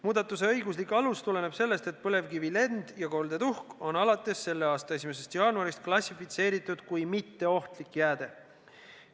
Muudatuse õiguslik alus tuleneb sellest, et põlevkivi lend- ja koldetuhk on alates selle aasta 1. jaanuarist klassifitseeritud kui mitteohtlik jääde.